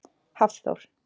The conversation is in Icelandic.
Hafþór